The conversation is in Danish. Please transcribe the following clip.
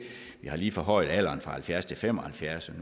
vi har lige forhøjet alderen fra halvfjerds til fem og halvfjerds